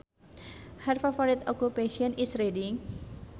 Her favorite occupation is reading